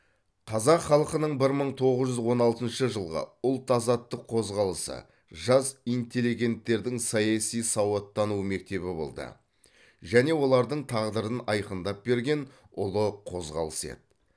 қазақ халқының бір мың тоғыз жүз он алтыншы жылғы ұлт азаттық қозғалысы жас интеллигенттердің саяси сауаттану мектебі болды және олардың тағдырын айқындап берген ұлы қозғалыс еді